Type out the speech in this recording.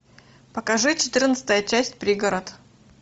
покажи четырнадцатая часть пригород